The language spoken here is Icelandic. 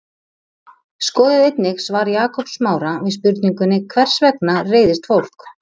Skoðið einnig svar Jakobs Smára við spurningunni Hvers vegna reiðist fólk?